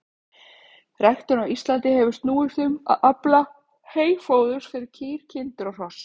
Ræktun á Íslandi hefur snúist um að afla heyfóðurs fyrir kýr, kindur og hross.